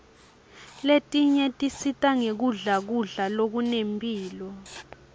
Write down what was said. letinye tisita ngekudla kudla lokunemphilo